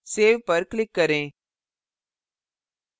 save पर click करें